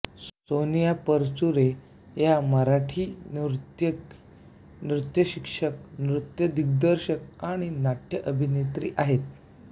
सोनिया परचुरे या एक मराठी नर्तकी नृत्यशिक्षक नृत्यदिग्दर्शक आणि नाट्यअभिनेत्री आहेत